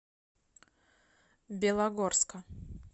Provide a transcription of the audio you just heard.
белогорска